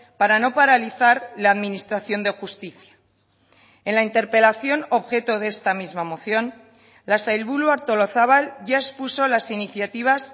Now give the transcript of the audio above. para no paralizar la administración de justicia en la interpelación objeto de esta misma moción la sailburu artolazabal ya expuso las iniciativas